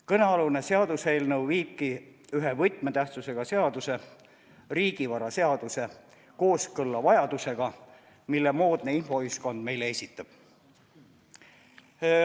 Kõnealune seaduseelnõu viibki ühe võtmetähtsusega seaduse, riigivaraseaduse kooskõlla vajadusega, mille moodne infoühiskond meile esitab.